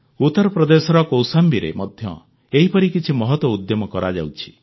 ଉତ୍ତରପ୍ରଦେଶର କୌଶାମ୍ବୀରେ ମଧ୍ୟ ଏହିପରି କିଛି ମହତ ଉଦ୍ୟମ କରାଯାଉଛି